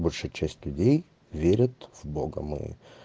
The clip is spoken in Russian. большая часть людей верят в бога мы